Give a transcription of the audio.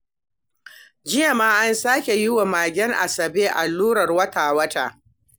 Jiya ma an sake yi wa magen Asabe allurar wata-wata